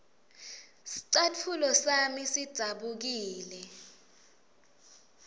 scatfulo sami sidzabukile